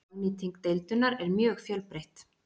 hagnýting deildunar er mjög fjölbreytt